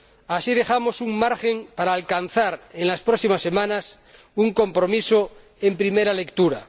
Así dejamos un margen para alcanzar, en las próximas semanas, un compromiso en primera lectura.